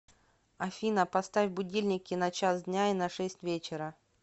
афина поставь будильники на час дня и на шесть вечера